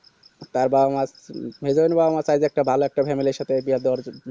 মেহেজাবিন ভাই এর মতো sije এর একটা ভালো একটা family এর সাথে বিয়া দেওয়ার